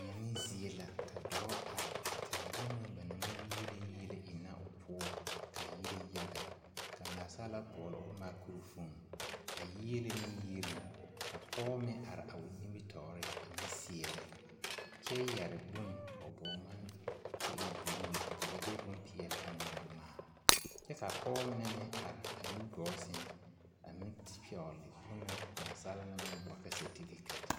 Deɛne zie la ka dɔɔ are a taa bone na ba naŋ maŋ yiele yiele ennɛ o poɔ k'a yire yaga ka naasaalaa boɔloo makurofoon a yiele ne yieluŋ ka pɔge meŋ are a o nimitɔɔreŋ a meŋ seɛrɛ kyɛ yɛre bone a o bɔɔŋmane k'o e buluu ka ba de bompeɛle a ŋmaa ŋmaa kyɛ k'a Pɔgebɔ mine meŋ are a nu gɔɔ seŋ a meŋ pɛgele bone na naasaalaa naŋ maŋ boɔle ka sɛtefeketi